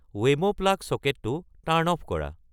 Wemo plug ছকেটটো turn off কৰা